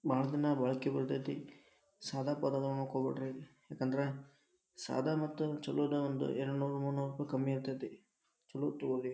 ಭಾಳ ದಿನ ಬಾಳ್ಕಿ ಬರ್ತೈತಿ ಸಾದಾ ತೊಗೊಳಕ್ ಹೋಗ್ಬ್ಯಾಡ್ರಿ ಯಾಕಂದ್ರ ಸಾದಾ ಮತ್ತ ಛಲೋದ್ರೊಳಗ ಒಂದ ಎರಡ್ನೂರು ಮುನ್ನೂರ್ರುಪಾಯಿ ಕಮ್ಮಿ ಇರ್ತೈತಿ ಛಲೋದ್ ತೊಗೋರಿ.